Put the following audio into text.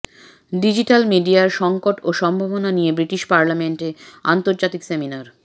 digital মিডিয়ার সংকট ও সম্ভাবনা নিয়ে বৃটিশ পার্লামেন্টে আন্তর্জাতিক সেমিনার